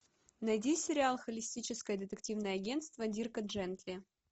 найди сериал холистическое детективное агентство дирка джентли